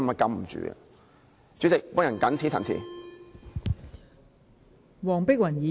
代理主席，我謹此陳辭。